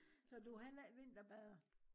så du heller ikke vinterbader?